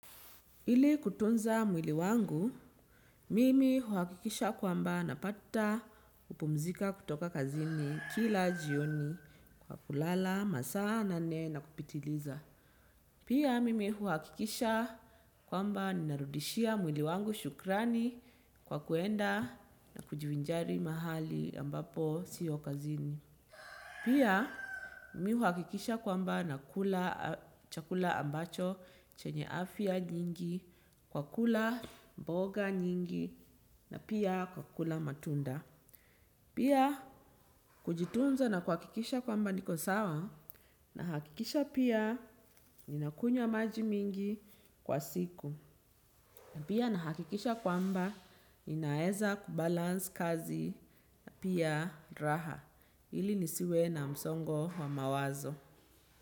Ili kutunza mwili wangu, mimi huakikisha kwamba napata kupumzika kutoka kazini kila jioni kwa kulala, masaa, nane na kupitiliza. Pia mimi huakikisha kwamba narudishia mwili wangu shukrani kwa kuenda na kujivinjari mahali ambapo siyo kazini. Pia mi uhakikisha kwamba nakula chakula ambacho chenye afya nyingi, kwa kula mboga nyingi na pia kwa kula matunda. Pia kujitunza na kuwahakikisha kwamba niko sawa nahakikisha pia ninakunywa maji mingi kwa siku. Pia nahakikisha kwamba ninaeza kubalansi kazi na pia raha ili nisiwe na msongo wa mawazo.